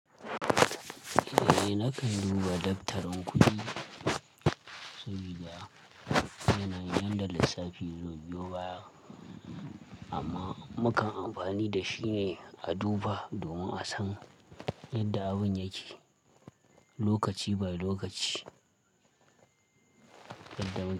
Eh nakan duba daftarin kuɗi sau gida. Yana yin yanda lassafi zaibiyo baya amma mukan amfani da shi ne a duba domin a san yadda abin yake lokaci by lokaci.